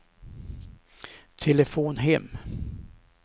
telefon hem